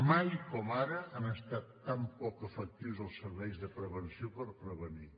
mai com ara han estat tan poc efectius els serveis de prevenció per prevenir